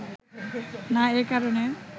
না, এ কারণে